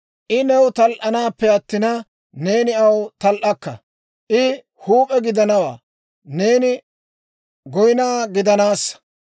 I new tal"anappe attina, neeni aw tal"akka; I huup'e gidanawaa; neeni dufe gidanassa.